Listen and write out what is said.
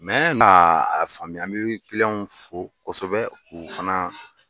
na a faamuya n bɛ fo kosɛbɛ u fana